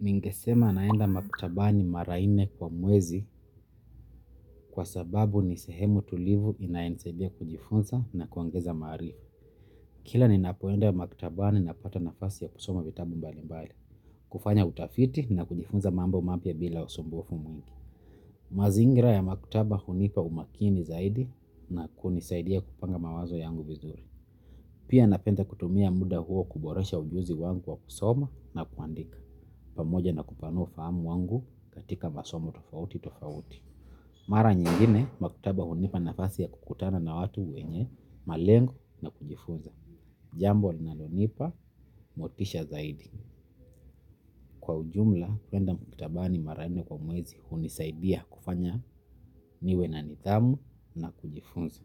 Ningesema naenda maktabani mara nne kwa mwezi kwa sababu nisehemu tulivu inayenisaidia kujifunza na kuongeza maarifa. Kila ninapoenda maktabani napata nafasi ya kusoma vitabu mbalimbali kufanya utafiti na kujifunza mambo mapya bila usumbufu. Mazingira ya maktaba hunipa umakini zaidi na kunisaidia kupanga mawazo yangu vizuri. Pia napenda kutumia muda huo kuboresha ujuzi wangu wa kusoma na kuandika. Pamoja na kupanua fahamu wangu katika masomo tofauti tofauti. Mara nyingine maktaba hunipa nafasi ya kukutana na watu wenye malengo na kujifunza. Jambo linalonipa motisha zaidi. Kwa ujumla, kwenda maktabani mara nne kwa mwezi hunisaidia kufanya niwe na nidhamu na kujifunza.